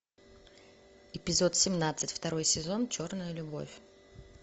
эпизод семнадцать второй сезон черная любовь